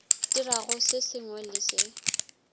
dirago se sengwe le se